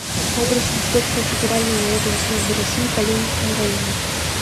адрес инспекция федеральной налоговой службы россии по ленинскому району